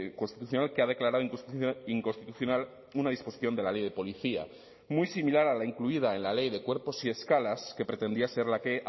constitucional que ha declarado inconstitucional una disposición de la ley de policía muy similar a la incluida en la ley de cuerpos y escalas que pretendía ser la que